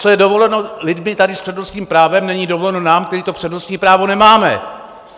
Co je dovoleno lidem tady s přednostním právem, není dovoleno nám, kteří to přednostní právo nemáme.